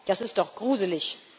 Das ist doch gruselig.